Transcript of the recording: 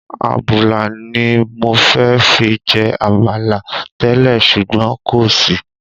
Àbùlà ni mọ fẹ́ fi jẹ Àmàlà tẹ́lẹ̀ ṣùgbọ́n kò sí.